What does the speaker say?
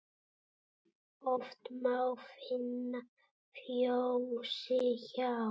Oft má finna fjósi hjá.